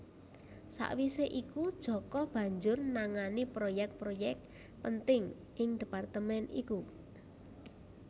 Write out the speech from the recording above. Sawisé iku Djoko banjur nangani proyek proyek penting ing departemen iku